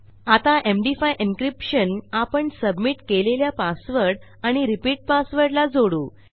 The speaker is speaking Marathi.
आता एमडी5 एन्क्रिप्शन आपण submitकेलेल्या पासवर्ड आणि रिपीट passwordला जोडू